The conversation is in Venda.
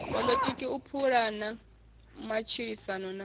poḽotiki u pulana matshilisano na